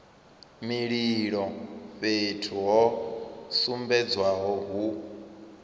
mililo fhethu ho sumbedzwaho hu